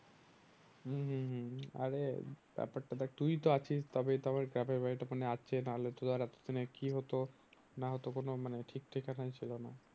হম হম হম আরে ব্যাপারটা দেখ তুই তো আছিস তবেই তো আমার গ্রামের বাড়িটা ওখানে আছে না হলে তো ধর এতো দিনে কি হতো না হতো মানে কোনো ঠিক ঠিকানাই ছিল না।